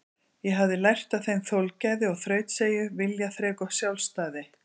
Ég hafði lært af þeim þolgæði og þrautseigju, viljaþrek og sjálfstæði.